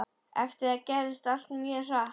Eftir það gerðist allt mjög hratt.